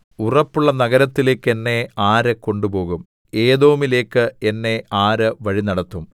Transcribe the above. ഉറപ്പുള്ള നഗരത്തിലേക്ക് എന്നെ ആര് കൊണ്ടുപോകും ഏദോമിലേക്ക് എന്നെ ആര് വഴിനടത്തും